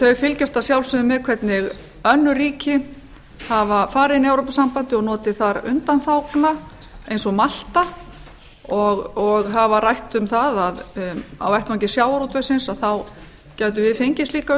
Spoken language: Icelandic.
þau fylgjast að sjálfsögðu með hvernig önnur ríki hafa farið inn í evrópusambandið og notið þar undanþágna eins og malta og hafa rætt um að á vettvangi sjávarútvegsins gætum við fengið slíkar